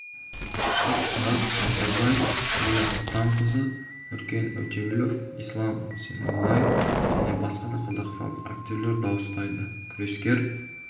шах-мұрат ордабаев ләйлә сұлтанқызы нұркен өтеуілов ислам зейнуллаев және басқа да қазақстандық актерлер дауыстайды күрескер